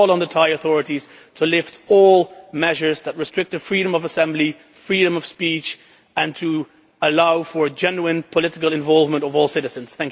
We call on the Thai authorities to lift all measures that restrict freedom of assembly and freedom of speech, and to allow for the genuine political involvement of all citizens.